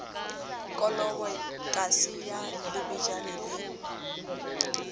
kolobo kase ya lebejana le